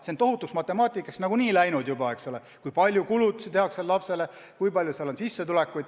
See on tohutuks matemaatikaks nagunii läinud juba, et kindlaks teha, kui palju kulutusi tehakse lapsele ja kui palju kellelgi on sissetulekut.